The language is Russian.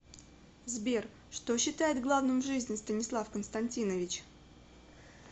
сбер что считает главным в жизни станислав константинович